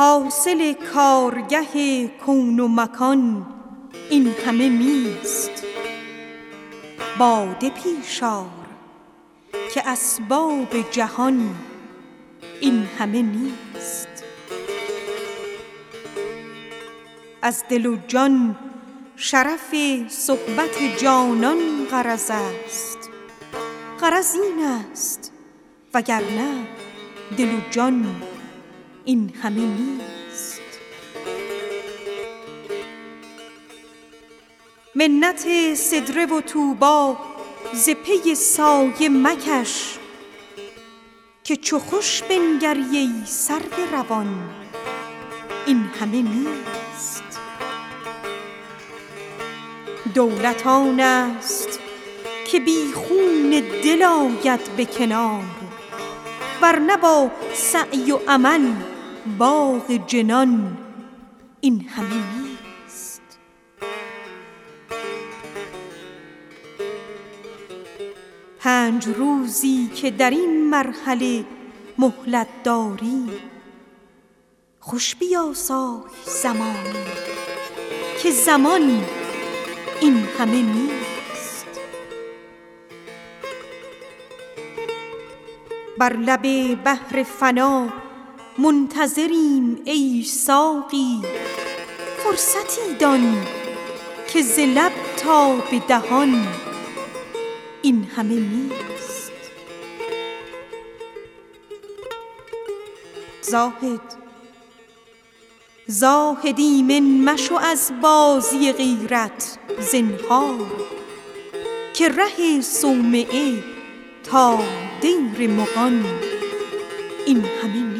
حاصل کارگه کون و مکان این همه نیست باده پیش آر که اسباب جهان این همه نیست از دل و جان شرف صحبت جانان غرض است غرض این است وگرنه دل و جان این همه نیست منت سدره و طوبی ز پی سایه مکش که چو خوش بنگری ای سرو روان این همه نیست دولت آن است که بی خون دل آید به کنار ور نه با سعی و عمل باغ جنان این همه نیست پنج روزی که در این مرحله مهلت داری خوش بیاسای زمانی که زمان این همه نیست بر لب بحر فنا منتظریم ای ساقی فرصتی دان که ز لب تا به دهان این همه نیست زاهد ایمن مشو از بازی غیرت زنهار که ره از صومعه تا دیر مغان این همه نیست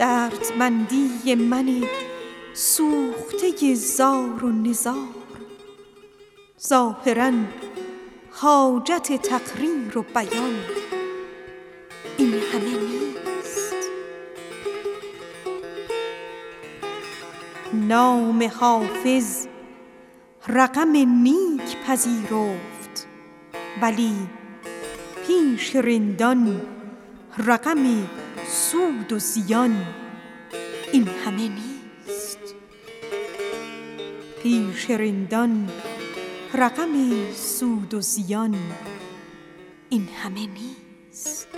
دردمندی من سوخته زار و نزار ظاهرا حاجت تقریر و بیان این همه نیست نام حافظ رقم نیک پذیرفت ولی پیش رندان رقم سود و زیان این همه نیست